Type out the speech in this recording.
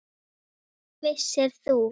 Vissir þú.